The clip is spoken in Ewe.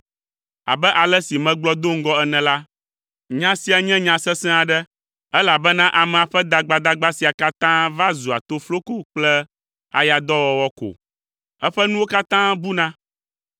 Abe ale si megblɔ do ŋgɔ ene la: Nya sia nye nya sesẽ aɖe, elabena amea ƒe dagbadagba sia katã va zua tofloko kple ayadɔwɔwɔ ko. Eƒe nuwo katã buna.